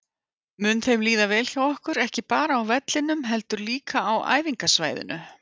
Mun þeim líða vel hjá okkur, ekki bara á vellinum heldur líka á æfingasvæðinu?